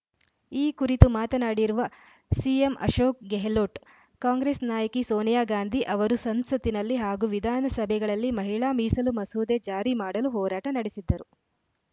ಈ ಕುರಿತು ಮಾತನಾಡಿರುವ ಸಿಎಂ ಅಶೋಕ್‌ ಗೆಹ್ಲೋಟ್‌ ಕಾಂಗ್ರೆಸ್‌ ನಾಯಕಿ ಸೋನಿಯಾ ಗಾಂಧಿ ಅವರು ಸಂಸತ್ತಿನಲ್ಲಿ ಹಾಗೂ ವಿಧಾನಸಭೆಗಳಲ್ಲಿ ಮಹಿಳಾ ಮೀಸಲು ಮಸೂದೆ ಜಾರಿ ಮಾಡಲು ಹೋರಾಟ ನಡೆಸಿದ್ದರು